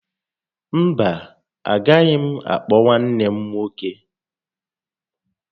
Mba, agaghị m àkpọ̀ nwanne m nwoke